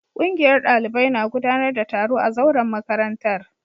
Kungiyar dalibai na gudanar da taro a zauren makarantar